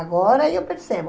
Agora eu percebo.